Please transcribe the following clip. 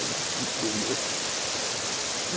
de assistir, viu